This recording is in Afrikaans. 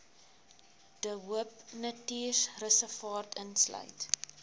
de hoopnatuurreservaat insluit